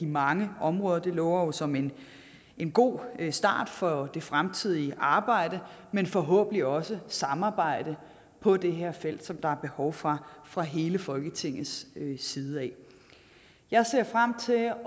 mange områder og det lover som en en god start for det fremtidige arbejde men forhåbentlig også samarbejde på det her felt som der er behov for fra hele folketingets side jeg ser frem til at